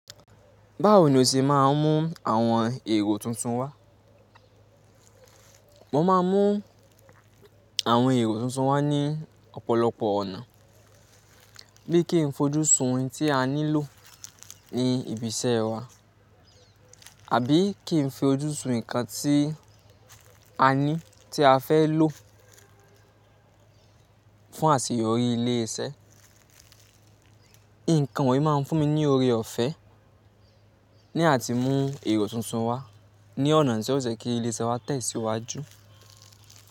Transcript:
Báwo ni o ṣe máa ń mú àwọn èrò tuntun wá? Mo máa ń mú àwọn èrò tuntun wá ní ọ̀pọ̀lọpọ̀ ọ̀nà bíi kí n fojú sun ohun tí a nílò ní ibi iṣẹ́ wa àbí kí n fi ojú sun nǹkan tí a ní tí a fẹ́ lò fún àṣeyọrí ilé iṣẹ́. Nǹkan wọ̀nyí máa ń fún mi ní oore ọ̀fẹ́ ní àti mú èrò tuntun wá ní ọ̀nà tí ó ṣe kí ilé iṣẹ́ wa tẹ̀síwájú.